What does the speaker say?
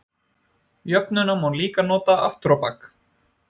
Jöfnuna má líka nota aftur á bak.